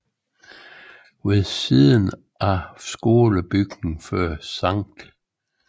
Ved siden af skolebygningen fører Skt